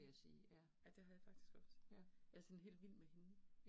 Ja, ja det har jeg faktisk også. Jeg sådan helt vild med hende